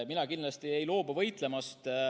Mina kindlasti ei loobu võitlemast.